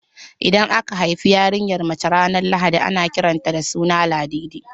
Idan aka haifi yarinyar mace ranar lahadi na kiran ta da suna Ladidi